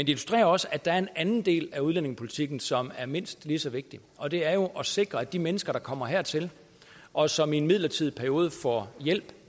illustrerer også at der er en anden del af udlændingepolitikken som er mindst lige så vigtig og det er jo at sikre at de mennesker der kommer hertil og som i en midlertidig periode får hjælp